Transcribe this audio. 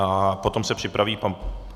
A potom se připraví pan...